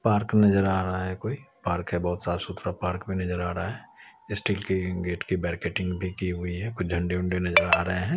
Park नज़र आ रहा है कोई पार्क है बहुत साफ सुथरा पार्क भी नज़र आ रहा है स्टील की गेट की बैरिकेटिंग भी की हुई है झंडे वंडे नज़र आ रहे है।